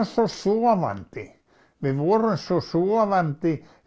svo sofandi við vorum svo sofandi